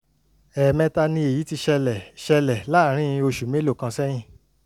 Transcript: ẹ̀ẹ̀mẹta ni èyí ti ṣẹlẹ̀ ṣẹlẹ̀ láàárín oṣù mélòó kan sẹ́yìn